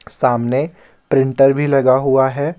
सामने प्रिंटर भी लगा हुआ है।